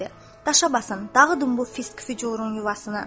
“Daşa basın, dağıdın bu fisq-fücurun yuvasını.”